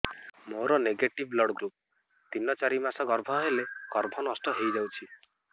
ମୋର negative blood group ତିନ ଚାରି ମାସ ଗର୍ଭ ହେଲେ ଗର୍ଭ ନଷ୍ଟ ହେଇଯାଉଛି